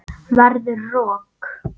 Verður rok.